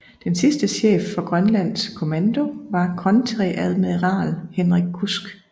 Den sidste chef for Grønlands Kommando var kontreadmiral Henrik Kudsk